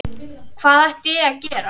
Hvað ætti ég að gera?